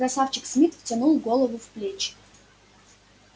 красавчик смит втянул голову в плечи